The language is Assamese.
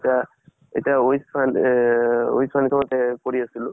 এতিয়া এতিয়া উইচ ফা-উন এহ্হ্হ উইচ foundation তে এহ কৰি আছলো।